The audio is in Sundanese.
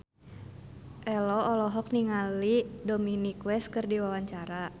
Ello olohok ningali Dominic West keur diwawancara